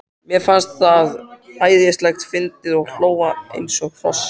Mér fannst það æðislega fyndið og hló eins og hross.